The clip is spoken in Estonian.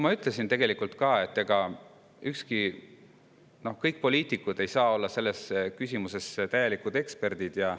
Ma tegelikult ütlesin ka, et kõik poliitikud ei saa olla selles küsimuses eksperdid.